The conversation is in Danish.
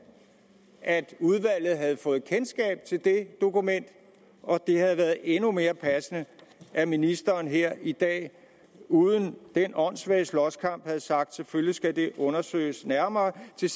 at udvalget havde fået kendskab til det dokument og det havde været endnu mere passende at ministeren her i dag uden den åndssvage slåskamp havde sagt selvfølgelig skal det undersøges nærmere til